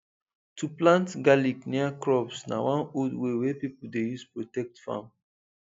to plant garlic near crops na one old way wey people dey use protect farm